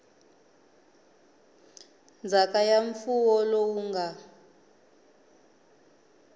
ndzhaka ya mfuwo lowu nga